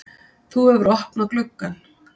Þú hefur opnað gluggann!